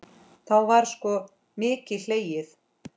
Þá var sko mikið hlegið.